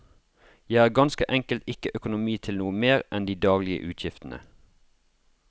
Jeg har ganske enkelt ikke økonomi til noe mer enn de daglige utgiftene.